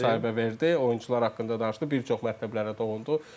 Neftçi TV-yə müsahibə verdi, oyunçular haqqında danışdı, bir çox mətləblərə toxundu.